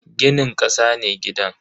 Ginin kasa ne gidan.